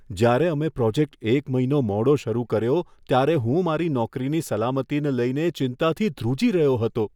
જ્યારે અમે પ્રોજેક્ટ એક મહિનો મોડો શરૂ કર્યો, ત્યારે હું મારી નોકરીની સલામતીને લઈને ચિંતાથી ધ્રુજી રહ્યો હતો.